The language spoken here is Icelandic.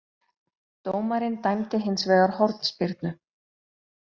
Dómarinn dæmdi hins vegar hornspyrnu